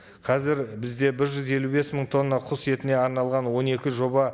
қазір бізде бір жүз елу бес мың тонна құс етіне арналған он екі жоба